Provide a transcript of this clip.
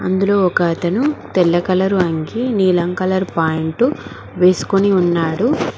అందులో ఒక అతను తెల్ల కలరు అంగీ నీలం కలరు ప్యాంట్ వేసుకొని ఉన్నాడు.